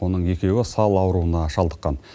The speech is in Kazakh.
оның екеуі сал ауруына шалдыққан